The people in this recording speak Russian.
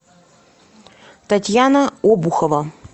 татьяна обухова